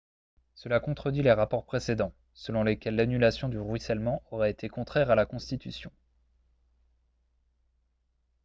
cela contredit les rapports précédents selon lesquels l'annulation du ruissellement aurait été contraire à la constitution